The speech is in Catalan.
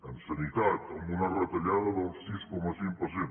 en sanitat amb una retallada del sis coma cinc per cent